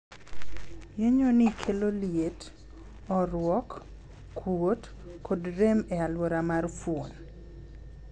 Yienyo nii kelo liet, ooruok, kuot, kod rem e aluora mar fuon.